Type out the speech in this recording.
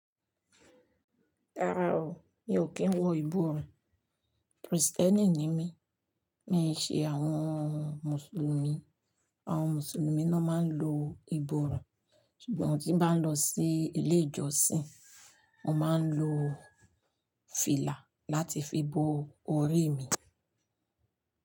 Rárá o, mi ò kí ń wọ ìborùn. Kristẹ́nì ni mí, mi ò ṣe àwọn Mùsùlùmí. Àwọn Mùsùlùmí ni wọ́n máa ń lo ìborùn. Ṣùgbọ́n tí mo bá ń lọ sí ilé ìjọsìn, mo máa ń lo fìlà láti fi bo orí mi.